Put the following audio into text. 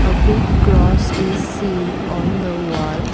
a big cross is seen on the wall.